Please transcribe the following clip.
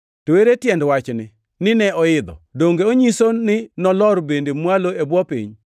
(To ere tiend wachni, “Nine oidho?” Donge onyiso ni nolor bende mwalo e bwo piny?